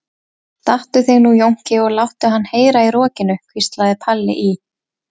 Stattu þig nú Jónki og láttu hann heyra í rokinu, hvíslaði Palli í